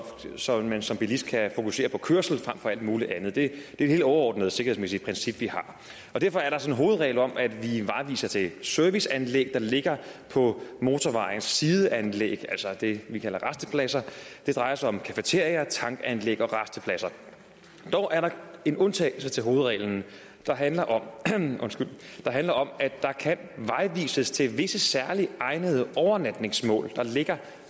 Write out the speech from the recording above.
så man som bilist kan fokusere på kørslen frem for alt muligt andet det er et helt overordnet sikkerhedsmæssigt princip vi har derfor er der så en hovedregel om at vi vejviser til serviceanlæg der ligger på motorvejens sideanlæg altså det vi kalder rastepladser og det drejer sig om cafeteriaer tankanlæg og rastepladser dog er der en undtagelse til hovedreglen der handler om handler om at der kan vejvises til visse særlige egnede overnatningsmål der ligger